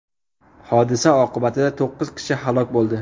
Hodisa oqibatida to‘qqiz kishi halok bo‘ldi.